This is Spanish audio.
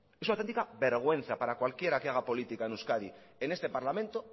es una autentica vergüenza para cualquiera que haga política en euskadi en este parlamento